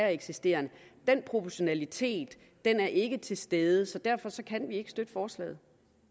eksisterer den proportionalitet er ikke til stede så derfor kan vi ikke støtte forslaget